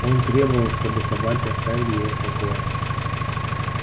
он требовал чтобы собаки оставили его в покое